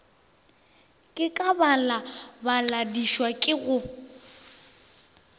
ka ke balabadišwa ke go